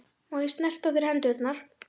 Má ég snerta á þér hendurnar?